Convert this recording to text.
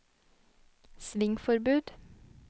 svingforbud